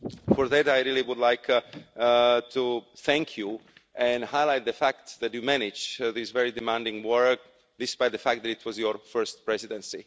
For that, I really would like to thank you and highlight the fact that you managed this very demanding work despite the fact that it was your first presidency.